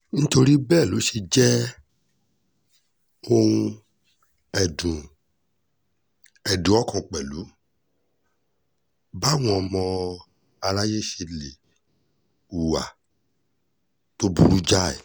nítorí bẹ́ẹ̀ ló ṣe jẹ́ ohun ẹ̀dùn ẹ̀dùn ọkàn pẹ̀lú báwọn ọmọ aráyé ṣe lè hùwà tó burú jáì